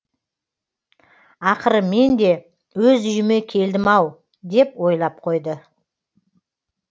ақыры мен де өз үйіме келдім ау деп ойлап қойды